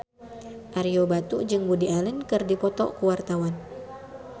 Ario Batu jeung Woody Allen keur dipoto ku wartawan